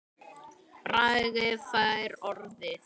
Bragi fær orðið